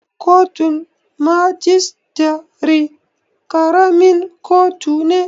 Kotun majistare ƙaramin kotu ne